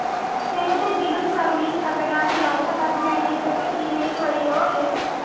ഏതെങ്കിലും സർവീസ്‌ തകരാറിലായാൽ അത് മാനേജരെ ഇമെയിൽ വഴിയോ എസ്.